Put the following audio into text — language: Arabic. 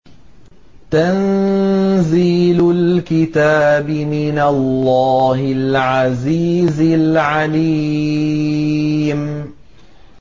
تَنزِيلُ الْكِتَابِ مِنَ اللَّهِ الْعَزِيزِ الْعَلِيمِ